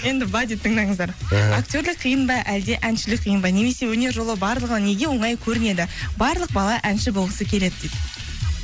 енді былай дейді тыңдаңыздар ыыы актерлік қиын ба әлде әншілік қиын ба немесе өнер жолы барлығына неге оңай көрінеді барлық бала әнші болғысы келеді дейді